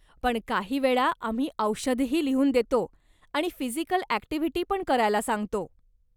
पण काही वेळा आम्ही औषधंही लिहून देतो आणि फिजिकल ॲक्टिव्हिटी पण करायला सांगतो.